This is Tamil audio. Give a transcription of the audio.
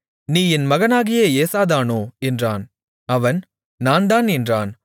நீ என் மகனாகிய ஏசாதானோ என்றான் அவன் நான்தான் என்றான்